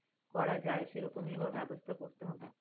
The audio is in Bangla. করা যায় সেরকমই ব্যাবস্থা করতে হবে।